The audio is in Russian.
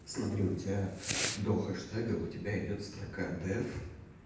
смотри у тебя до хэштега у тебя идёт строка дев